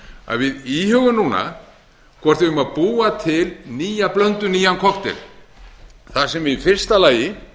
að við íhugum núna hvort við eigum að búa til nýja blöndu nýjan kokteil þar sem við í fyrsta lagi